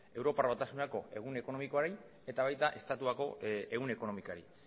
europar batasuneko ehun ekonomikoari eta baita estatuko ehun ekonomikari